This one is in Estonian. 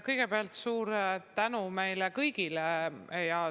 Kõigepealt suur tänu meile kõigile!